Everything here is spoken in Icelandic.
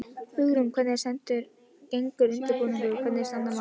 Hugrún, hvernig gengur undirbúningur og hvernig standa mál?